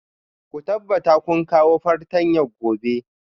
Ku tabbatar kun kawo fartanya gobe